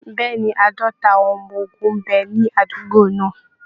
Bẹ́ẹ̀ ni, Àádọ́ta àwọn ọmọ ogun ń bẹ ní àdúgbò náà